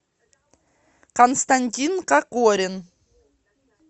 константин кокорин